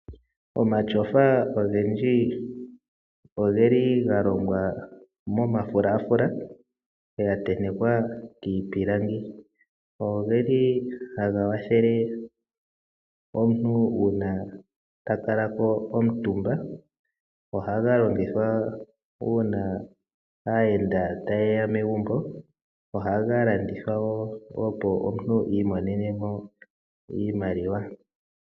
Omatyofa ogendji ogeli ogeli galongwa momafulafula ga tentekwa iipilangi. Ogeli haga kwathele omuntu uuna takalako omutumba . Ohaga longithwa uuna aayenda tayeya megumbo . Ohaga landithwa woo opo omuntu I imonenemo iimaliwa.